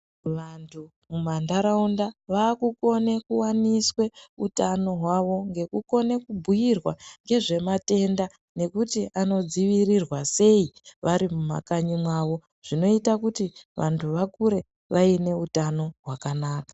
Vantu mumandaraunda vakukona kuwaniswa hutano hwavo nekukona kubhuirwa nezvematenda nekuti Anodzivirirwa sei vari kumakanyi mawo zvinoita kuti vantu vakure vane hutano hwakanaka.